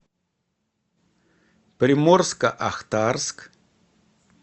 приморско ахтарск